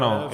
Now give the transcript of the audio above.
Ano.